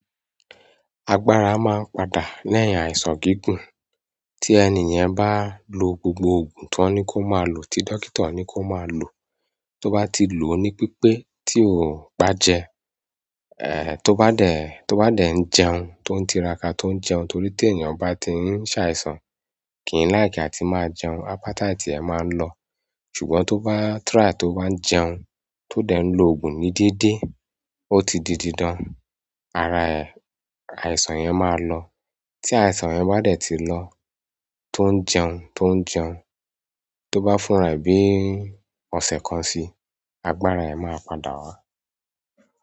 Agbára máa ń padà lẹ́yìn àìsàn gígùn. Tí ẹni yẹn bá lo gbogbo ògùn tan ní kó máa lò, tí dókítà ní kó máa lò, tó bá ti lò ó ní pípe tí ó bá jẹ, tó bá dẹ̀, tó bá dẹ̀ ń jẹun tó ń tiraka tó ń jẹun torí tí ènìyàn bá ti ń ṣàìsàn, kì í láìkí a ti máa jẹun, appetite ẹ máa ń lọ, ṣùgbọ́n tó bá "try" tó bá ń jẹun tó dẹ̀ ń lo ògùn ní dédé, ó ti di dídan, ara ẹ̀, àìsàn yẹn máa lọ. Tí àìsàn yẹn bá dẹ̀ ti lọ, tó ń jẹun tó ń jẹun, tó bá fúnra bí ọ̀sẹ̀ kan sí i, agbára ẹ̀ máa padà wá.